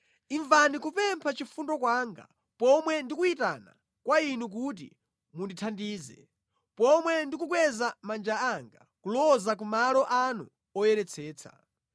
Imvani kupempha chifundo kwanga pomwe ndikuyitana kwa Inu kuti mundithandize, pomwe ndikukweza manja anga kuloza ku malo anu oyeretsetsa.